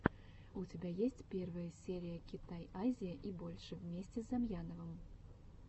у тебя есть первая серия китай азия и больше вместе с замьяновым